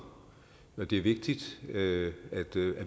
det er vigtigt at